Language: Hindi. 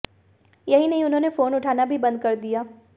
यही नहीं उन्होंने फोन उठाना भी बंद कर दिया